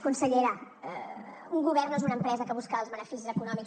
consellera un govern no és una empresa que busca els beneficis econòmics